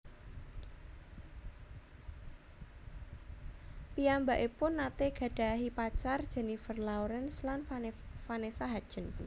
Piyambakipun nate gadhahi pacar Jennifer Lawrence lan Vanessa Hudgens